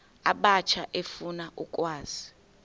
abatsha efuna ukwazi